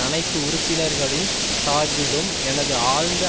அனைத்து உறுப்பினர்களின் சார்பிலும் எனது ஆழ்ந்த